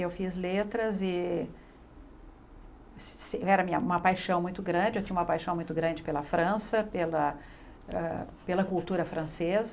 Eu fiz letras e era uma paixão muito grande, eu tinha uma paixão muito grande pela França, pela ah pela cultura francesa.